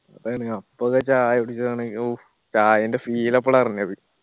ആ ചായ കുടിക്കാണെങ്കി ഔഫ് ചായന്റെ feel അപ്പോളാ അറിഞ്ഞത്